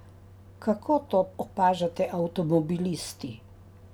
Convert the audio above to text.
Kako to opažate avtomobilisti?